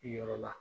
Yɔrɔ la